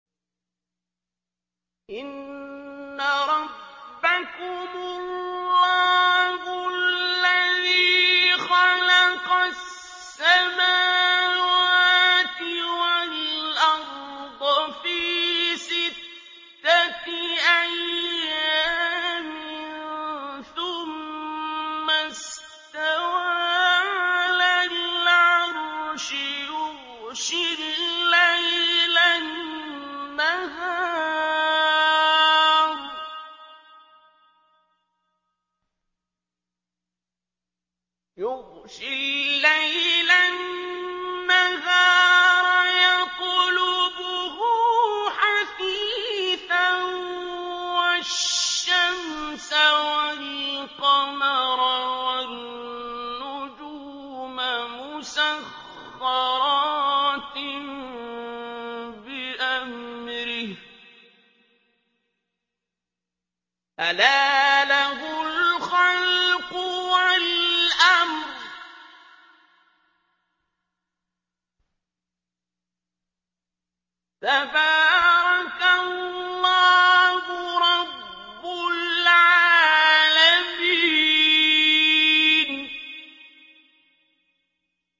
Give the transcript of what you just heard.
إِنَّ رَبَّكُمُ اللَّهُ الَّذِي خَلَقَ السَّمَاوَاتِ وَالْأَرْضَ فِي سِتَّةِ أَيَّامٍ ثُمَّ اسْتَوَىٰ عَلَى الْعَرْشِ يُغْشِي اللَّيْلَ النَّهَارَ يَطْلُبُهُ حَثِيثًا وَالشَّمْسَ وَالْقَمَرَ وَالنُّجُومَ مُسَخَّرَاتٍ بِأَمْرِهِ ۗ أَلَا لَهُ الْخَلْقُ وَالْأَمْرُ ۗ تَبَارَكَ اللَّهُ رَبُّ الْعَالَمِينَ